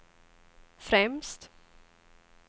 främst